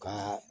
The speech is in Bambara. Ka